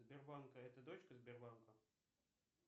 сбербанк а это дочка сбербанка